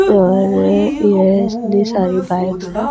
और ये इनती सारी बाइक हैं।